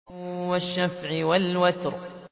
وَالشَّفْعِ وَالْوَتْرِ